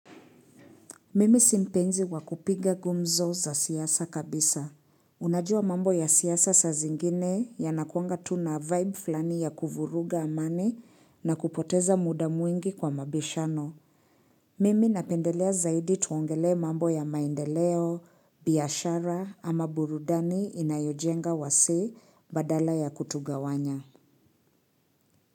Mimi si mpenzi wa kupiga gumzo za siasa kabisa. Unajua mambo ya siasa saa zingine yanakuanga tu na vibe fulani ya kuvuruga amani na kupoteza muda mwingi kwa mabishano. Mimi napendelea zaidi tuongelee mambo ya maendeleo, biashara ama burudani inayojenga wasee badala ya kutugawanya.